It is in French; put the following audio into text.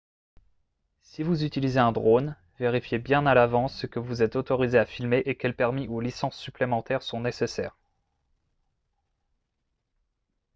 si vous utilisez un drone vérifiez bien à l'avance ce que vous êtes autorisé à filmer et quels permis ou licences supplémentaires sont nécessaires